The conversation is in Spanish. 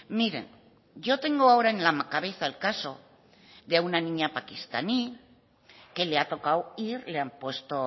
miren yo tengo ahora en la cabeza el caso de una niña pakistaní que le ha tocado ir le han puesto